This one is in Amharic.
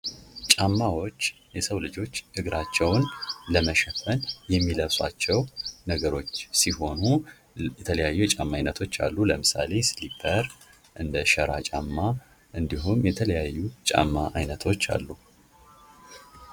ጫማዎች የሰው ልጆች እግራቸውን ለመሸፈን የሚለብሷቸው ነገሮች ሲሆኑ የተለያዩ የጫማ አይነቶች አሉ። ለምሳሌ ሲሊፐር እንደ ሸራ ጫማ እንዲሁም የተለያዩ ጫማ አይነቶች አሉ።